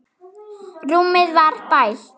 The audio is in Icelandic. Rúmið var bælt.